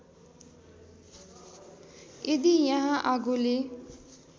यदि यहाँ आगोले